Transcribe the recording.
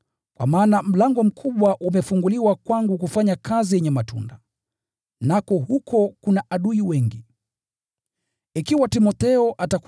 kwa maana mlango mkubwa umefunguliwa kwangu kufanya kazi yenye matunda, nako huko kuna adui wengi wanaonipinga.